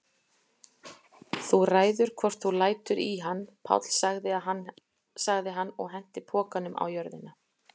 Þú ræður hvort þú lætur í hann, Páll sagði hann og henti pokanum á jörðina.